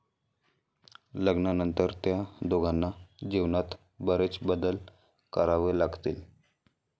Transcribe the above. लग्नानंतर त्या दोघांना जीवनात बरेच बदल करावे लागतील.